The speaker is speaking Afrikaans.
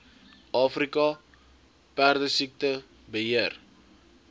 afrika perdesiekte beheer